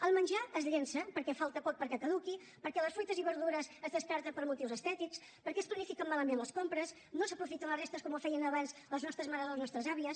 el menjar es llença perquè falta poc perquè caduqui perquè les fruites i verdures es descarten per motius estètics perquè es planifiquen malament les compres no s’aprofiten les restes com ho feien abans les nostres mares o les nostres àvies